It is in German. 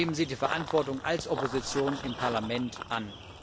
Nehmen Sie die Verantwortung als Opposition im Parlament an.